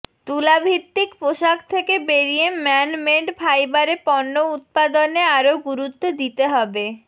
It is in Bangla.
তুলাভিত্তিক পোশাক থেকে বেরিয়ে ম্যান মেড ফাইবারে পণ্য উৎপাদনে আরও গুরুত্ব দিতে হবে